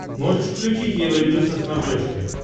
можешь включить евроньюз на смотрешке